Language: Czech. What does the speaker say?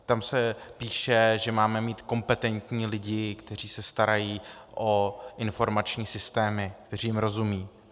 Tam se píše, že máme mít kompetentní lidi, kteří se starají o informační systémy, kteří jim rozumějí.